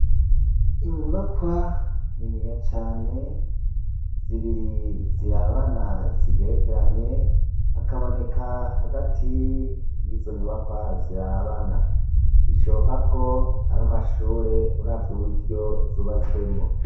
inyubakwa niniya cane zibiri zirabana zigerekeranye hakaboneka hagati y'izo nyubakwa zirabana ishoboka ko ar'amashure uravye uburyo zubatswemo